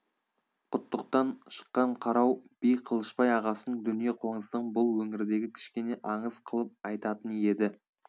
құттықтан шыққан қарау би қылышбай ағасының дүние қоңыздығын бұл өңірдегі кішкене аңыз қылып айтатын еді